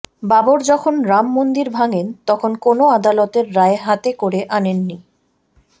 বাবর যখন রাম মন্দির ভাঙেন তখন কোনও আদালতের রায় হাতে করে আনেননি